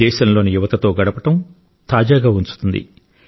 దేశంలోని యువతతో గడపడం తాజాగా ఉంచుతుంది